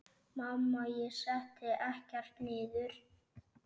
Mamma: Ég setti ekkert niður!